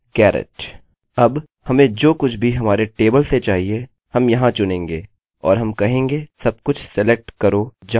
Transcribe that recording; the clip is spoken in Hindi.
यदि हम यहाँ अपने डेटाबेस को देखें हम अपने firstname के लिए खोज रहे हैं और उसको alex से मिला रहे हैं सरनेम खोज रहे हैं और उसको garrett से मिला रहे हैं